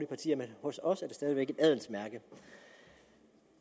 partier men hos os stadig væk et adelsmærke at